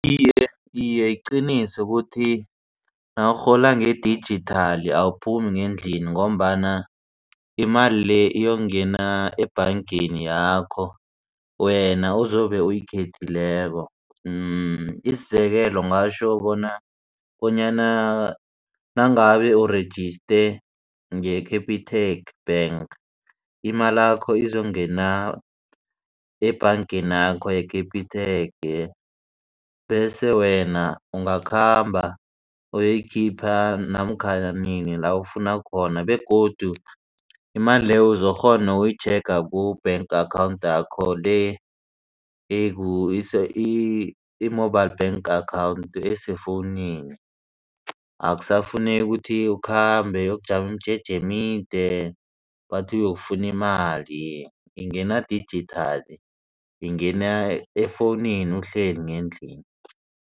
Iye, iye iqiniso ukuthi nawurhola ngedijithali awuphumi ngendlini ngombana imali le iyokungena ebhangeni yakho wena uzobe uyikhethileko. Isizekelo ngitjho bona bonyana nangabe urejiste nge-Capitec bank imalakho ezokungena ebhangenakho ye-Capitec. Bese wena ungakhamba uyoyikhipha namkhana nini la ufuna khona begodu imali leyo uzokukghona uyitjhega ku-bank account yakho le i-mobile bank account esefowunini. Akusafuneki ukuthi ukhambe uyokujama imijeje emide bathi uyokufuna imali ingena dijithali ingena efowunini uhleli ngendlini.